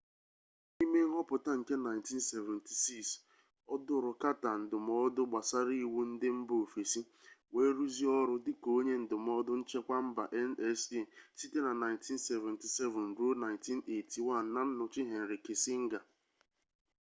n’ime nghọpụta nke 1976 ọ dụrụ carter ndụmọdụ gbasara iwu ndị mba ofesi wee rụzie ọrụ dịka onye ndụmọdụ nchekwa mba nsa site na 1977 ruo 1981 na nnọchi henry kissinger